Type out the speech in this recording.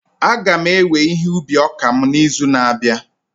A ga m ewe ihe ubi ọka m n'izu na-abịa